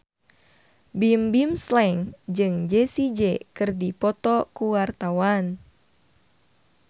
Bimbim Slank jeung Jessie J keur dipoto ku wartawan